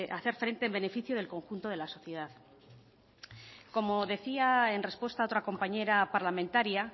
frente en beneficio del conjunto de la sociedad como decía en respuesta a otra compañera parlamentaria